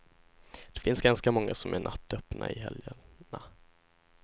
Det finns ganska många som är nattöppna i helgerna.